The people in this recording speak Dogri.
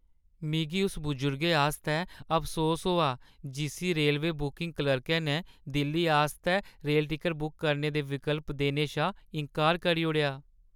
मिगी उस बजुर्गै आस्तै अफसोस होआ जिस्सी रेलवे बुकिंग क्लर्कै ने दिल्ली आस्तै रेल टिकट बुक करने दे विकल्प देने शा इन्कार करी ओड़ेआ।